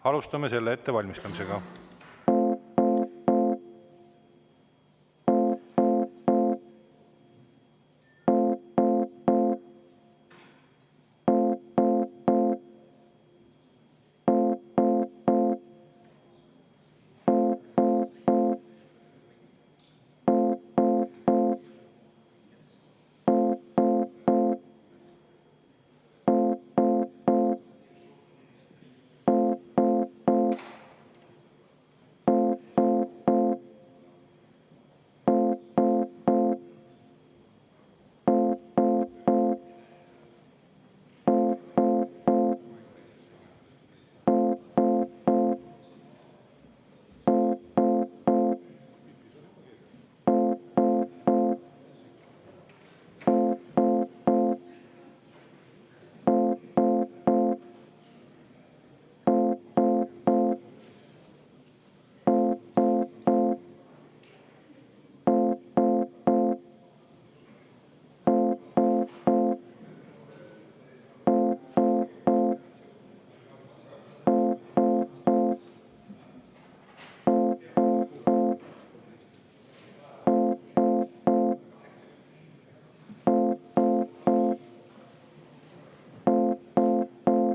Alustame selle ettevalmistamisega.